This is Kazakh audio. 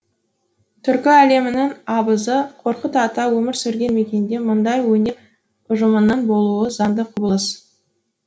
түркі әлемінің абызы қорқыт ата өмір сүрген мекенде мұндай өнер ұжымының болуы заңды құбылыс